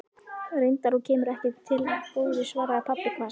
Reyndar, og kemur ekki til af góðu, svaraði pabbi hvasst.